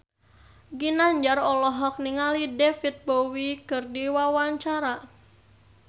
Ginanjar olohok ningali David Bowie keur diwawancara